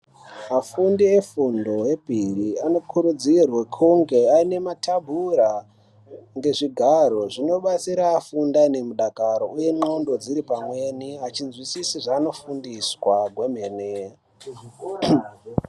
Afundi efundo yepiri anokurudzirwa kuti ange aine matabura ngezvigaro zvinodetsera afunde aine mudakaro uye ndxondo dziripamweni echizwisisa zveanofundiswa gwemene muzvikora.